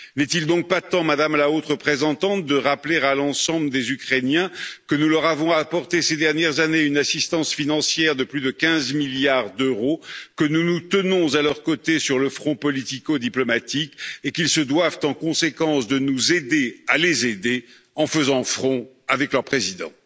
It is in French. N'est il donc pas temps, Madame la Haute Représentante, de rappeler à l'ensemble des Ukrainiens que nous leur avons apporté ces dernières années une assistance financière de plus de 15 milliards d'euros, que nous nous tenons à leurs côtés sur le front politico diplomatique et qu'ils se doivent, en conséquence, de nous aider à les aider en faisant front avec leur président?